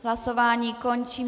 Hlasování končím.